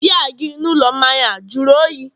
biya gị n'ụlọ mmanya a jụrụ oyi?